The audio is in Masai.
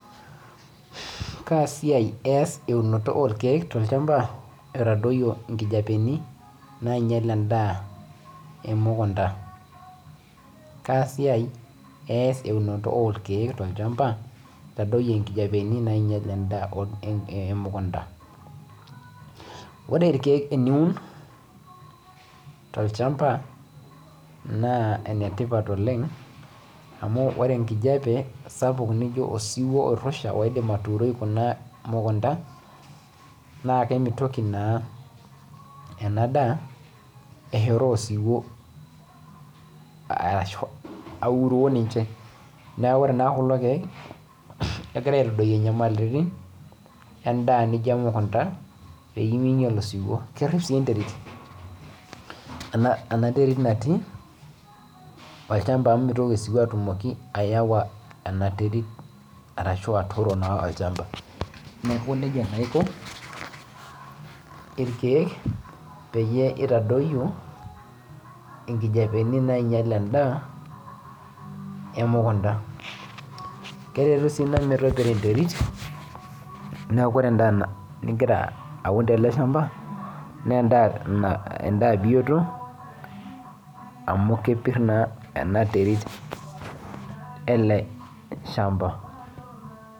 Ore irkeek teniun tolchamba naa enetipat oleng amu ore enkijiape sapuk naijo osiwuo oirrusha oidim atuuroi kuna mukunda naa kemitoki naa ena daa euroo osiwuo. Neaku ore naa kulo keek naa kegira aitadoyio nyamalaritin endaa niijo emukunda pee mingial osiwuo nerrip sii enterit naati olchamba amu mitoki osiwuo atumoki aawa. Neaku njia naa iko peitadoyio nkijoapeni naingial endaa emukunda. Keretu sii naaji metopiro enterit neaku ore endaa nigira aun tele {shamba} naa endaa bioto amu kepir naa ena terit ele {shamba}.